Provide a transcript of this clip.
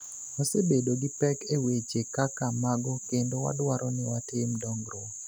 Wasebedo gi pek e weche kaka mago kendo wadwaro ni watim dongruok".